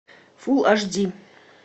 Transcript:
фул аш ди